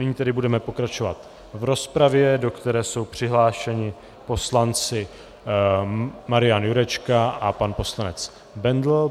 Nyní tedy budeme pokračovat v rozpravě, do které jsou přihlášeni poslanci Marian Jurečka a pan poslanec Bendl.